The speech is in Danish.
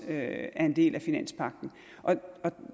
er en del af finanspagten